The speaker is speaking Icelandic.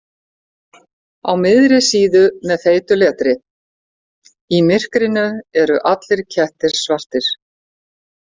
Á miðri síðu með feitu letri: Í MYRKRINU ERU ALLIR KETTIR SVARTIR.